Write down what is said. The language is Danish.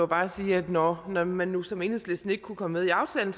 bare sige at når når man nu som enhedslisten ikke kunne komme med i aftalen